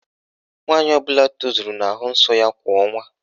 Nwaanyị ọbụla tozuru na-ahụ nsọ ya kwa ọnwa.